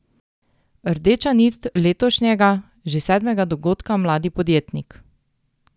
Rdeča nit letošnjega, že sedmega dogodka Mladi podjetnik?